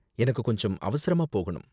எனக்கும் கொஞ்சம் அவசரமா போகணும்